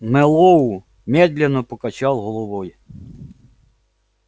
мэллоу медленно покачал головой